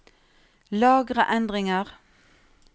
Lagre endringer